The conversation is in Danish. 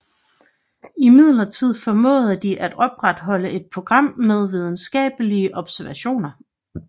Imidlertid formåede de at opretholde et program med videnskabelige observationer